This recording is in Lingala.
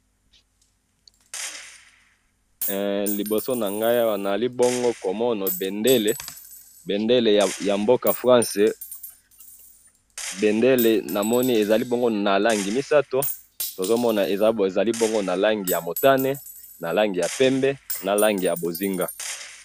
Eh! Liboso nangayi awa nazali bongo komona Bendele, bendele yamboka France bendele namoni ezali bongo nalangi misatu, tozomona ezali bongo na langi ya mutane, na langi ya pembe, na langi yabonzinga.